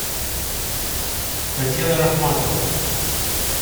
татьяна рахматова